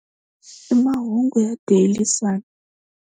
I mahungu ya DailySun.